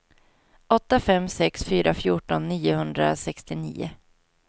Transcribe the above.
åtta fem sex fyra fjorton niohundrasextionio